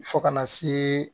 Fo kana se